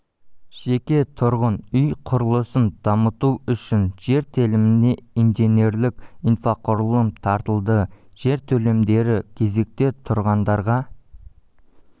жеке тұрғын үй құрылысын дамыту үшін жер теліміне инженерлік инфрақұрылым тартылды жер телімдері кезекте тұрғандарға